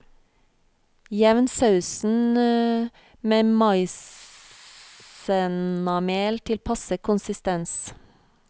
Jevn sausen med maisennamel til passe konsistens.